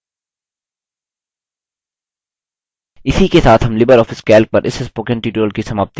इसी के साथ हम लिबर ऑफिस calc पर इस spoken tutorial की समाप्ति की ओर आ गये हैं